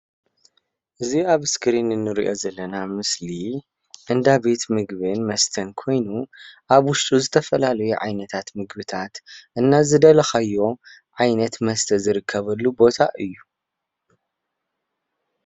እዚ ኣብ እስክሪን እንሪኦ ዘለና ምስሊ እንዳቤት ምግብን መስተን ኮይኑ ኣብ ውሽጡ ዝተፈላለዩ ዓይነታት ምግብታት እና ዝደለኻዮ ዓይነት መስተ ዝርከብሉ ቦታ እዩ፡፡